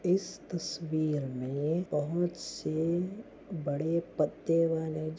इस तस्वीर मे बहुत से बड़े पत्ते वाले --